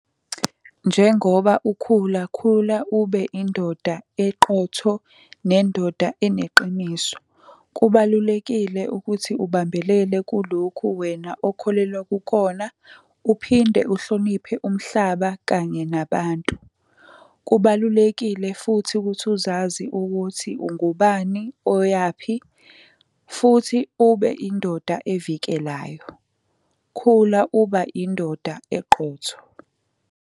Njengoba ukhula, khula ube indoda eqotho nendoda eneqiniso. Kubalulekile ukuthi ubambelele kulokhu wena okholelwa kukhona uphinde uhloniphe umhlaba kanye nabantu. Kubalulekile futhi ukuthi uzazi ukuthi ungubani oyaphi, futhi ube indoda evikelayo. Khula uba indoda eqotho.